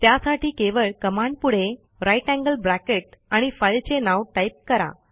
त्यासाठी केवळ कमांडपुढे ग्रेटर थान साइन आणि फाईलचे नाव टाईप करा